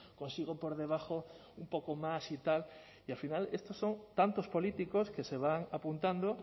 consigo por debajo un poco más y tal y al final estos son tantos políticos que se van apuntando